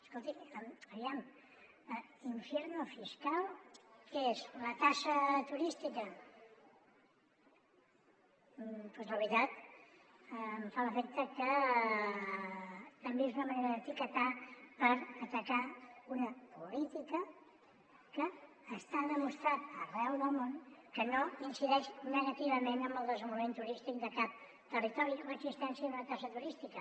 escolti aviam infierno fiscall’efecte que també és una manera d’etiquetar per atacar una política que està demostrat arreu del món que no incideix negativament en el desenvolupament turístic de cap territori l’existència d’una taxa turística